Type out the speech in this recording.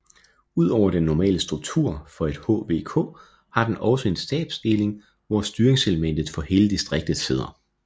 Ud over den normale struktur for et HVK har den også en stabsdeling hvor i styringselementet for hele distriktet sidder